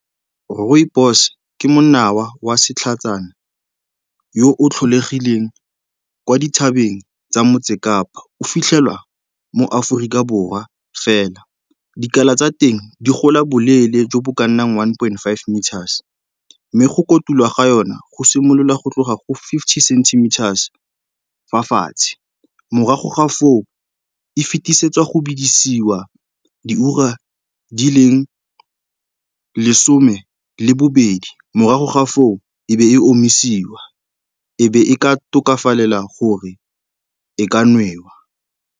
Rooibos ke monawa wa setlhatsana yo o tlholegileng kwa dithabeng tsa motse Kapa, o fitlhelwa mo Aforika Borwa fela. Dikala tsa teng di gola boleele jo bo ka nnang one point five meters mme go kotulwa ga yona go simolola go tloga go fifty centimeters fa fatshe, mme morago ga foo, e fetisetswa go bidisiwa di ura di leng lesome le bobedi. Morago ga foo, e be e omisiwa, e be e ka tokafalela gore e ka nwewa.